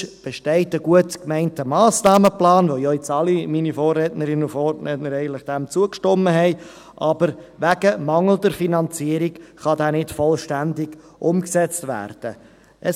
Sonst besteht ein gut gemeinter Massnahmenplan, dem ja eigentlich alle meine Vorrednerinnen und Vorredner jetzt zugestimmt haben, der aber wegen mangelnder Finanzierung nicht vollständig umgesetzt werden kann.